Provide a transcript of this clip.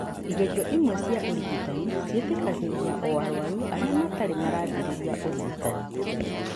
Igerio imwe cia ũrigitani ciĩtĩkagĩria o arũaru arĩa matarĩ maraambĩrĩria ũrigitani.